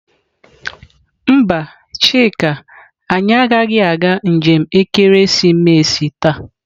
Mba, chika anyi agaghi aga njem ekeresimesi taa.